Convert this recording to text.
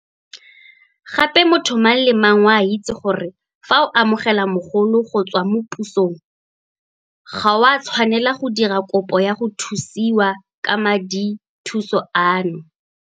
Gape motho mang le mang o a itse gore fa o amogela mogolo go tswa mo pusong ga o a tshwanela go dira kopo ya go thusiwa ka madithuso ano.